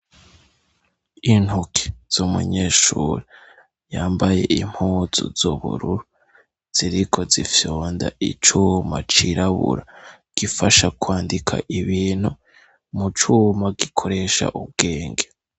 Intuke z' umunyeshura yambaye impuzu zubururu ziriko zifyunda icuma cirabura gifasha kwandika ibintu mucuma gikoresha ubwenge.